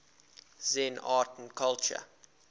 zen art and culture